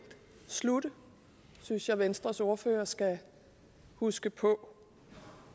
slutte det synes jeg venstres ordfører skal huske på